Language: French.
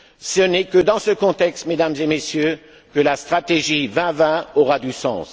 Ce n'est que dans ce contexte, Mesdames et Messieurs, que la stratégie 2020 aura du sens.